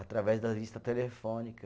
Através da lista telefônica.